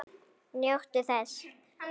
Njóttu þess.